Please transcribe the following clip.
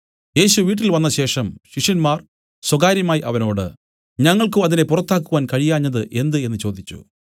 യേശു വീട്ടിൽ വന്നശേഷം ശിഷ്യന്മാർ സ്വകാര്യമായി അവനോട് ഞങ്ങൾക്കു അതിനെ പുറത്താക്കുവാൻ കഴിയാഞ്ഞത് എന്ത് എന്നു ചോദിച്ചു